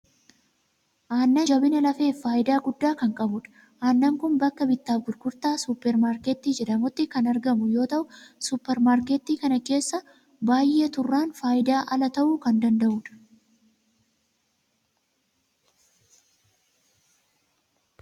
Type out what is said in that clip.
Aannan jabina lafeef faayidaa guddaa kan qabudha. Aannan kun bakka bittaaf gurgurtaa suuper maarketii jedhamutti kan argamu yoo ta'u, suuper maarketii kana keessa baay'ee turraan faayidaa ala ta'uu kan danda'udha.